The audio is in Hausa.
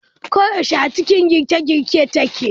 Ko yaushe a cikin girke girke take.